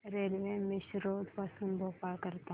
railway Misrod पासून भोपाळ करीता